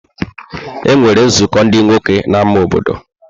E nwere nzukọ ndị nwoke na ámá obodo.